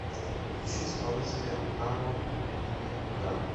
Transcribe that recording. включи исполнителя намо миниган